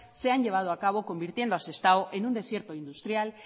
se han llevado a cabo convirtiendo a sestao en un desierto industrial